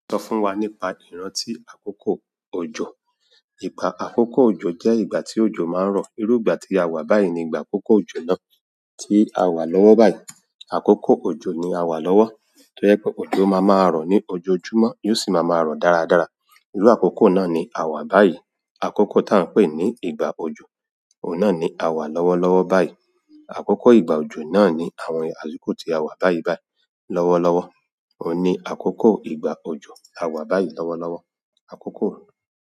Sọ fún wa nípa ìrántí àkókò òjò. Ìgbà àkókò òjò jẹ́ ìgbà tí òjò máa ń rọ̀. Irú ìgbà tí a wà báyìí ni ìgbà àkókò òjò náà tí a wà lọ́wọ́ báyìí. Àkókò òjò ni a wà lọ́wọ́. To jẹ pé òjò máa ma rọ̀ ní ojoojúmọ́, yóò sì máa ma rọ̀ dáradára. Irú àkókò náà ni a wà báyìí. Àkókò tá a ń pè ní ìgbà òjò, ohun n náà ni a wà lọ́wọ́lọ́wọ́ báyìí. Àkókò ìgbà òjò náà ni àwọn àsìkò tí a wà báyìí báyìí lọ́wọ́lọ́wọ́. Ohun ni àkókò ìgbà òjò, a wà báyìí lọ́wọ́lọ́wọ́, àkókò.